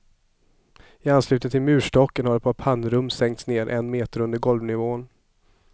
I anslutning till murstocken har ett pannrum sänkts ned en meter under golvnivån.